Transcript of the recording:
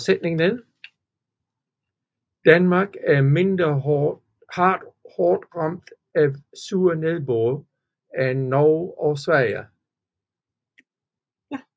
Danmark er mindre hårdt ramt af sur nedbør end Norge og Sverige